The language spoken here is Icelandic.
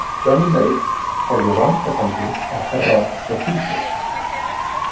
Johnny Mate horfði rannsakandi á Herra Toshizo.